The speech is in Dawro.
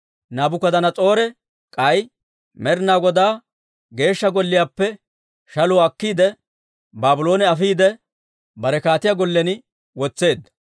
Naabukadanas'oore k'ay Med'inaa Godaa Geeshsha Golliyaappe shaluwaa akkiide, Baabloone afiide, bare kaatiyaa gollen wotseedda.